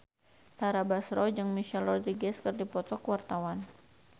Tara Basro jeung Michelle Rodriguez keur dipoto ku wartawan